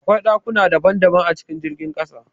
Akwai ɗakuna daban daban a cikin jirgin ƙasa